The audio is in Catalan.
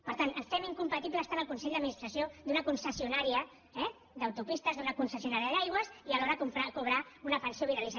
per tant fem incompatibles tant el consell d’administració d’una concessionària d’autopistes d’una concessionària d’aigües i alhora cobrar una pensió vitalícia